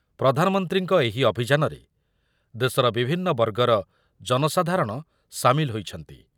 ପ୍ରଧାନମନ୍ତ୍ରୀଙ୍କ ଏହି ଅଭିଯାନରେ ଦେଶର ବିଭିନ୍ନ ବର୍ଗର ଜନସାଧାରଣ ସାମିଲ ହୋଇଛନ୍ତି ।